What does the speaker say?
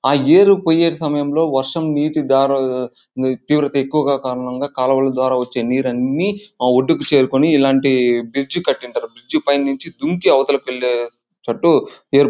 ఆ యేరు పోయే సమయం లో వర్షం నీటి ద్వారా తీవ్రత ఎక్కువుగా కర్ణం ద్వారా కాల్వలు ద్వారా ఒకే నీళ్లు అనే ఆ కొడుకు చేరి ఇల్లాంటి బ్రిడ్జి కటి ఉంటారు. ఆ బ్రిడ్జి పైనే నుచి దుంకి అవతలకు వెళ్లి చెట్టు --]